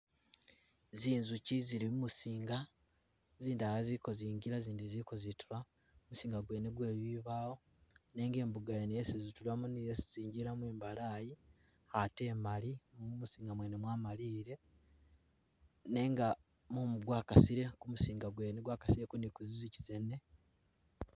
Zinjukyi zili mumuzinga, zindala zili kozingila zindi zili kozitula, muzinga gwene gwe zimbawo nenga imbuga yene yesi zitulamo ni yesi zingilamo imbalayi ate emali, mumuzinga mwene mwamalile nenga mumu gwakasile kumuzinga gwene gwakasile ni ku zinjukyi zene